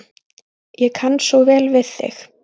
Ég kann svo vel við þig.